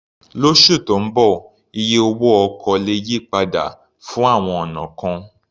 Lósù tó ń bọ̀, iye owó ọkọ̀ lè yí padà fún àwọn ọ̀nà kan.